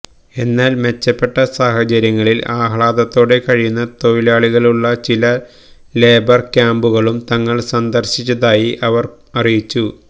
എന്നാല് മെച്ചപ്പെട്ട സാഹചര്യങ്ങളില് ആഹ്ലാദത്തോടെ കഴിയുന്ന തൊഴിലാളികളുള്ള ചില ലേബര് ക്യാമ്പുകളും തങ്ങള് സന്ദര്ശിച്ചതായി ഇവര് അറിയിച്ചു